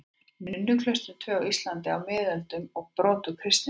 Nunnuklaustrin tvö á Íslandi á miðöldum og brot úr kristnisögu.